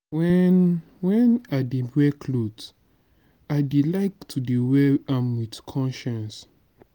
when when i dey wear cloth i dey like to wear am with conscience.